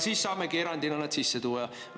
Siis saamegi erandina nad sisse tuua.